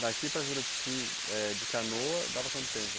Daqui para Juruti, eh de canoa, dava quanto tempo?